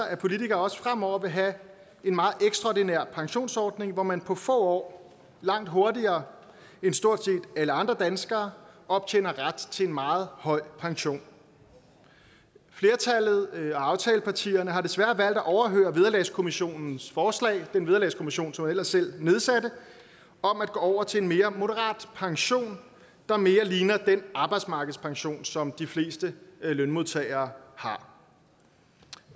at politikere også fremover vil have en meget ekstraordinær pensionsordning hvor man på få år og langt hurtigere end stort set alle andre danskere optjener ret til en meget høj pension flertallet af aftalepartierne har desværre valgt at overhøre vederlagskommissionens forslag den vederlagskommissionen som man ellers selv nedsatte om at gå over til en mere moderat pension der mere ligner den arbejdsmarkedspension som de fleste lønmodtagere har